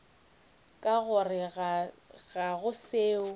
ka gore ga go seo